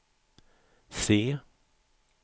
C